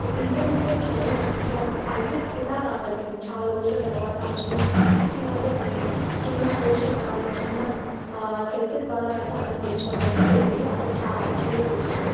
ఒక ఇంటర్మీడియట్ చదివిన విద్యార్థి ఐ--ఎస్ ఎలా కాగలిగింది. చాలా రోజుల తర్వాత అనేది మనం పర్టిక్యులర్ గా ఆ ఈ చిన్న పోస్టర్ ద్వారా ఆ ఈ చిన్న ఫ్లెక్సీ ద్వారా అర్థం చేసుకోవడం అయితే జరిగింది. అందరూ చాలా ఆశ్చర్యపోతున్నారు.